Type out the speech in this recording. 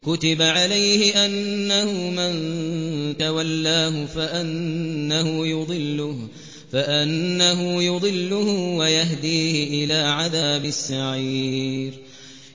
كُتِبَ عَلَيْهِ أَنَّهُ مَن تَوَلَّاهُ فَأَنَّهُ يُضِلُّهُ وَيَهْدِيهِ إِلَىٰ عَذَابِ السَّعِيرِ